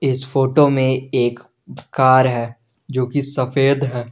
इस फोटो में एक कार है जो की सफेद है।